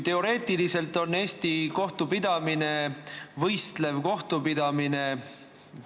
Teoreetiliselt on Eesti kohtupidamine võistlev kohtupidamine.